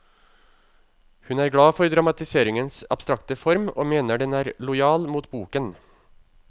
Hun er glad for dramatiseringens abstrakte form, og mener den er lojal mot boken.